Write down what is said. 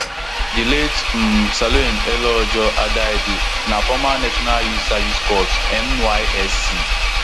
di late um salome eleojo adaidu na former national youth service corps nysc